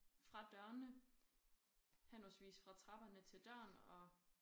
Fra dørene henholdsvis fra trapperne til døren og